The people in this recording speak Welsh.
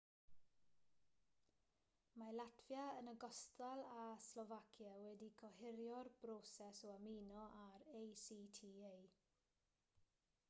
mae latfia yn ogystal â slofacia wedi gohirio'r broses o ymuno â'r acta